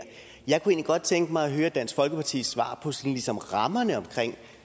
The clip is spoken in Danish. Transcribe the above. jeg kunne egentlig godt tænke mig at høre dansk folkepartis svar på sådan ligesom rammerne omkring